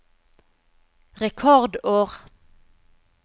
rekordår